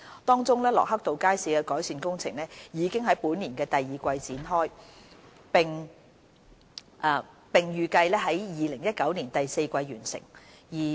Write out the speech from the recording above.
當中，駱克道街市的改善工程已於本年第二季展開，並預計於2019年第四季完成。